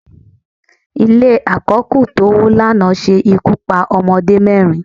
Ile àkó̩kù tówó lana se ikú pa ọmọdé mẹrin